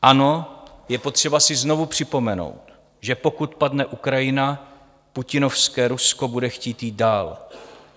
Ano, je potřeba si znovu připomenout, že pokud padne Ukrajina, putinovské Rusko bude chtít jít dál.